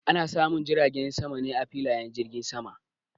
Ana samun jiragen sama ne a filayen jirgin sama.